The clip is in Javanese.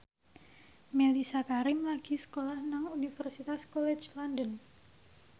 Mellisa Karim lagi sekolah nang Universitas College London